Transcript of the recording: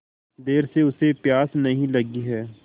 देर से उसे प्यास नहीं लगी हैं